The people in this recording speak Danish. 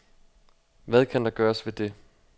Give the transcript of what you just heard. Hvad kan der gøres ved det.